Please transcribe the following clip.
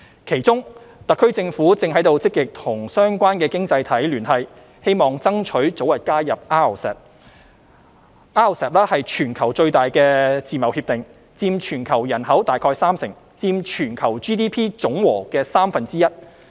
其中，特區政府正積極與相關經濟體聯繫，希望爭取早日加入 RCEP。RCEP 是全球最大的自貿協定，佔全球人口大概三成，佔全球 GDP 總和的三分之一。